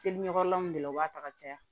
Seli ɲɔgɔn de la u b'a ta ka caya